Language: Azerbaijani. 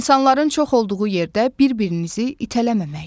İnsanların çox olduğu yerdə bir-birinizi itələməmək.